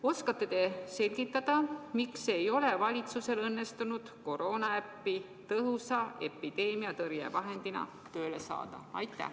Oskate te selgitada, miks ei ole valitsusel õnnestunud koroonaäppi tõhusa epideemiatõrjevahendina tööle saada?